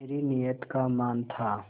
मेरी नीयत का मान था